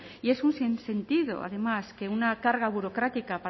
y es un sin sentido además que una carga burocrática